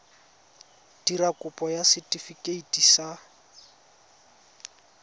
dira kopo ya setefikeiti sa